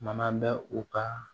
Mana bɛ u ka